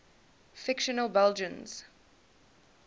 fictional belgians